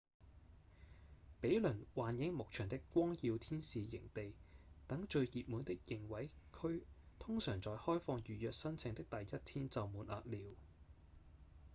比鄰幻影牧場的光耀天使營地等最熱門的營位區通常在開放預約申請的第一天就滿額了